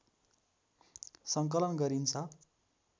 सङ्कलन गरिन्छ